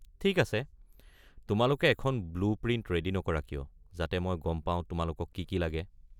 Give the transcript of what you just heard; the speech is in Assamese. ঠিক আছে, তোমালোকে এখন ব্লু প্ৰিণ্ট ৰেডি নকৰা কিয়, যাতে মই গম পাও তোমালোকক কি কি লাগে।